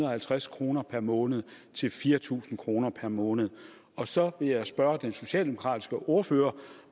og halvtreds kroner per måned til fire tusind kroner per måned og så vil jeg spørge den socialdemokratiske ordfører